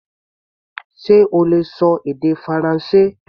Ṣe o lè ṣọ èdè Faransé?